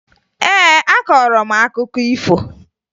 Ee, akọrọ m akụkọ ifo